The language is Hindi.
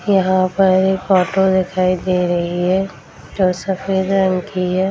यहाँ पर एक ऑटो दिखाई दे रही है जो सफेद रंग की है।